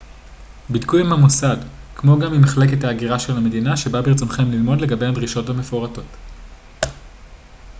בדקו עם המוסד כמו גם עם מחלקת ההגירה של המדינה שבה ברצונכם ללמוד לגבי הדרישות המפורטות